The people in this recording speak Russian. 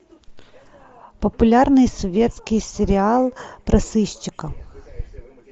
популярный советский сериал про сыщика